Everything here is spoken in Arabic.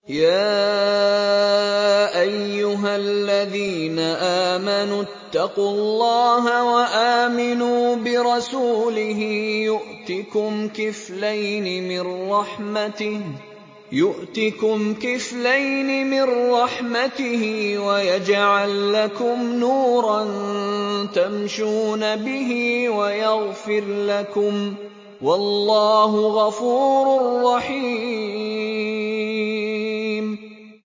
يَا أَيُّهَا الَّذِينَ آمَنُوا اتَّقُوا اللَّهَ وَآمِنُوا بِرَسُولِهِ يُؤْتِكُمْ كِفْلَيْنِ مِن رَّحْمَتِهِ وَيَجْعَل لَّكُمْ نُورًا تَمْشُونَ بِهِ وَيَغْفِرْ لَكُمْ ۚ وَاللَّهُ غَفُورٌ رَّحِيمٌ